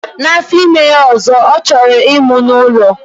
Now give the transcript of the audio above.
Na afọ ime ya ọzọ, ọ chọrọ ịmụ n'ụlọ.